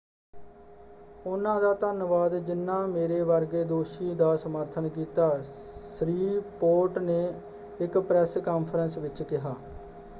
ਉਹਨਾਂ ਦਾ ਧੰਨਵਾਦ ਜਿੰਨ੍ਹਾਂ ਮੇਰੇ ਵਰਗੇ ਦੋਸ਼ੀ ਦਾ ਸਮਰਥਨ ਕੀਤਾ” ਸ੍ਰੀਪੋਰਟ ਨੇ ਇਕ ਪ੍ਰੈਸ ਕਾਰਫਰੰਸ ਵਿੱਚ ਕਿਹਾ।